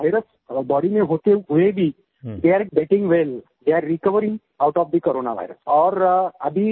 though वो virus body में होते हुए भी they are getting well they are recovering out of the corona virus